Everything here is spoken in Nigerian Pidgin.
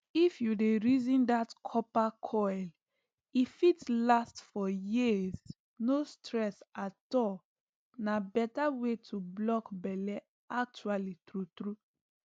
if you dey reason that copper coil e fit last for years no stress at all na better way to block belle actually true true